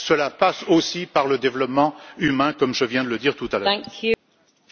Cela passe aussi par le développement humain, comme je viens de le dire tout à l'heure.